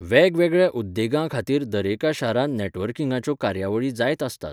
मार्च दोन हजार तीन सावन तो जेजेएमएनचो संस्थापक वांगडी आसा.